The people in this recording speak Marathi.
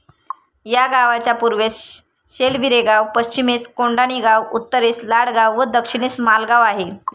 या गावाच्या पूर्वेस शेलवीरेगाव, पश्चिमेस कोडाणीगाव, उत्तरेस लाडगाव व दक्षिणेस मालगाव आहे.